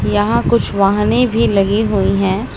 यहां कुछ वाहने भी लगी हुई हैं।